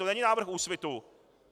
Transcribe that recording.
To není návrh Úsvitu.